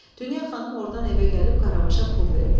Dünya xanım ordan evə gəlib Qaravaşa pul verdi.